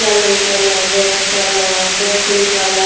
yellow colour red colour purple colour --